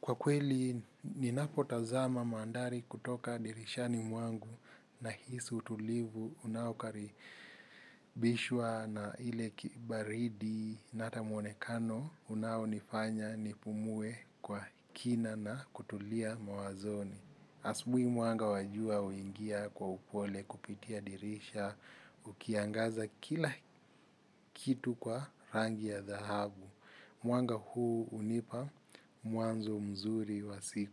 Kwa kweli, ninapotazama mandhari kutoka dirishani mwangu nahisi utulivu unaokaribishwa na ile kibaridi na hata muonekano unaonifanya nipumue kwa kina na kutulia mawazoni. Asubuhi mwanga wa jua uingia kwa upole kupitia dirisha, ukiangaza kila kitu kwa rangi ya dhahabu. Mwanga huu hunipa mwanzo mzuri wa siku.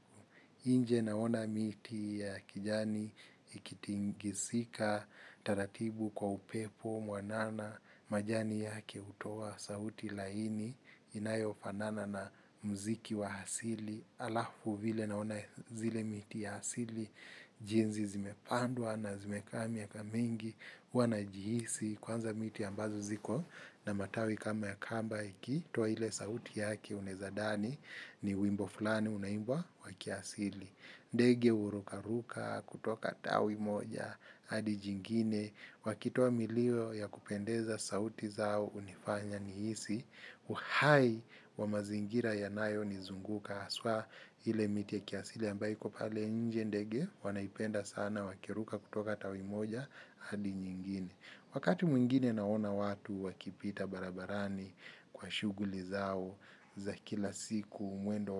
Inje naona miti ya kijani ikitingishika, taratibu kwa upepo, mwanana, majani yake utoa, sauti laini, inayofanana na muziki wa asili, alafu vile naona zile miti ya asili, jinsi zimepandwa na zimekaa miaka mingi, huwa najihisi, kwanza miti ambazo ziko na matawi kama ya kamba ikitoa ile sauti yake unaezadhani ni wimbo fulani unaimbwa wa kiasili. Ndege uruka ruka kutoka tawi moja, hadi jingine, wakitoa milio ya kupendeza sauti zao unifanya nihisi, uhai wa mazingira yanayonizunguka, haswa ile miti ya kiasili ambayo iko pale nje ndege, wanaipenda sana wakiruka kutoka tawi moja, hadi nyingine. Wakati mwingine naona watu wakipita barabarani kwa shughuli zao za kila siku mwendo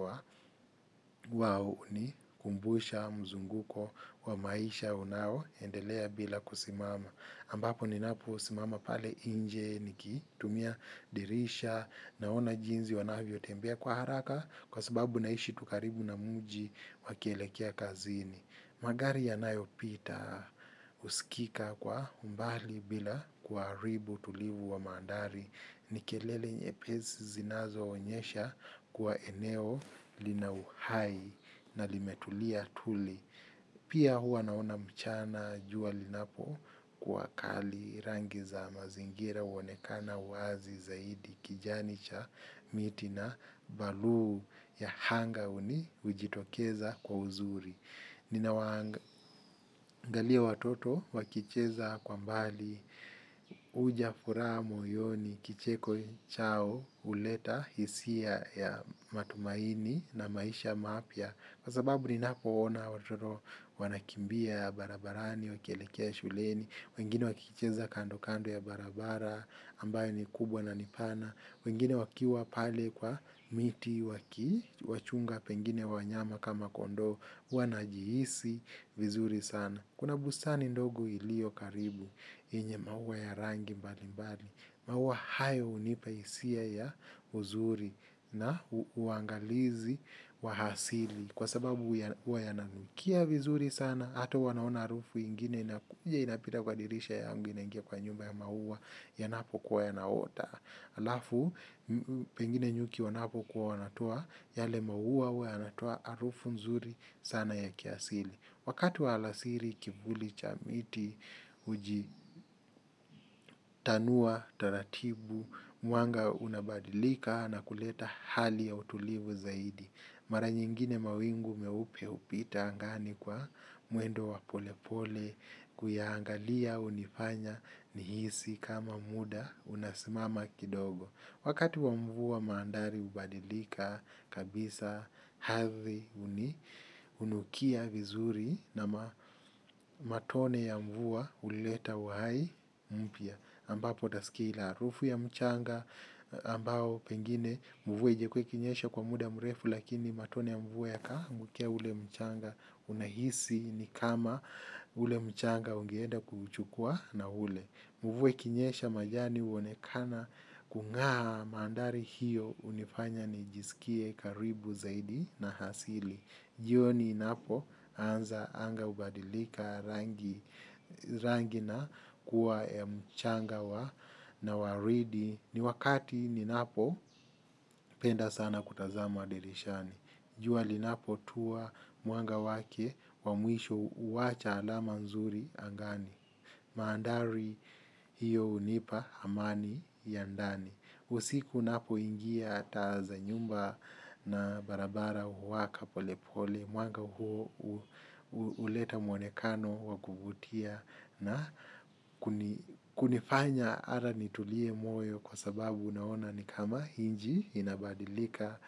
wao unikumbusha mzunguko wa maisha unao endelea bila kusimama. Ambapo ninapo simama pale nje nikitumia dirisha naona jinsi wanavyo tembea kwa haraka kwa sababu naishi tu karibu na mji wakielekea kazini. Magari yanayopita husikika kwa umbali bila kuharibu utulivu wa mandhari ni kelele nyepesi zinazoonyesha kuwa eneo lina uhai na limetulia tuli. Pia hua naona mchana jua linapokuwa kali rangi za mazingira uonekana uazi zaidi kijani cha miti na baluu ya anga uni hujitokeza kwa uzuri. Nina waangalia watoto wakicheza kwa mbali huja furaha moyoni kicheko chao uleta hisia ya matumaini na maisha mapya kwa sababu ninapo ona watoto wanakimbia barabarani, wakielekea shuleni, wengine wakicheza kando kando ya barabara ambayo ni kubwa na ni pana wengine wakiwa pale kwa miti wakiwachunga pengine wanyama kama kondoo, huwa najihisi vizuri sana. Kuna bustani ndogo ilio karibu, yenye maua ya rangi mbali mbali, maua hayo hunipa hisia ya uzuri na uangalizi wa asili. Kwa sababu huwa yananukia vizuri sana, hata wanaona harufu ingine, inapita kwa dirisha yangu inangia kwa nyumba ya maua yanapo kwa yanaota alafu pengine nyuki wanapokuwa wanatua yale maua huwa yanatoa harufu nzuri sana ya kiasili wakati wa alasiri kivuli cha miti ujitanua, taratibu mwanga unabadilika na kuleta hali ya utulivu zaidi mara nyingine mawingu meupe hupita angani kwa mwendo wa pole pole. Kuyaangalia unifanya nihisi kama muda unasimama kidogo wakati wa mvua mandhari ubadilika kabisa ardhi unukia vizuri na matone ya mvua uleta uhai mpya ambapo utasikia ile harufu ya mchanga ambao pengine mvua haijakuwa ikinyesha kwa muda mrefu lakini matone ya mvua yakaamukia ule mchanga unahisi ni kama ule mchanga ungeenda kuuchukua na ule. Mvua ikinyesha majani uonekana kungaa mandhari hiyo unifanya nijisikie karibu zaidi na asili. Jioni inapoanza anga hubadilika rangi na kuwa ya mchanga wa na waridi ni wakati ninapopenda sana kutazama dirishani. Jua linapotua mwanga wake wa mwisho huacha alama nzuri angani mandhari hiyo unipa amani ya ndani. Usiku napoingia taa za nyumba na barabara uwaka pole pole. Mwanga huo huleta mwonekano wa kuvutia na kuni kunifanya hata nitulie moyo kwa sababu unaona ni kama nchi inabadilika.